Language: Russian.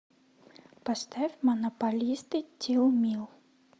поставь монополисты тилмил